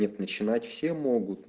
начинать все мои